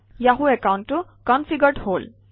Yahoo একাউণ্টটো configured হল